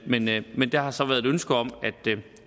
ventet men der har så været ønske om